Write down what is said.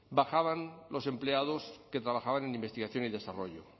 bajaban los empleados que trabajaban en investigación y desarrollo